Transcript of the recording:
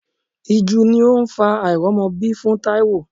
Ìju ni ó ń fa àìrọ́mọbí fún Taiwo.